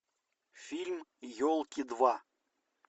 фильм елки два